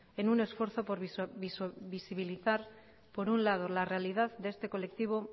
en un esfuerzo por visibilizar por un lado la realidad de este colectivo